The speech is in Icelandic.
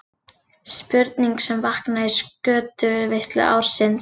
Spurning sem vaknaði í skötuveislu ársins.